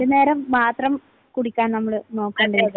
രണ്ടുനേരം മാത്രം കുടിക്കാൻ നമ്മൾ നോക്കണം.